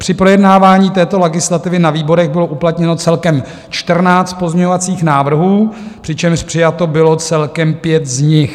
Při projednávání této legislativy na výborech bylo uplatněno celkem 14 pozměňovacích návrhů, přičemž přijato bylo celkem 5 z nich.